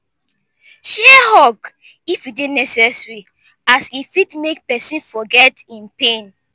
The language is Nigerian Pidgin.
share hug if e dey necesary as e fit mek pesin forget em pain